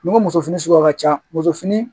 Ni ko muso fini suguya ka ca musofini